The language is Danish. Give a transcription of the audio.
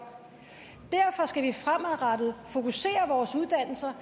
derfor skal vi fremadrettet fokusere vores uddannelser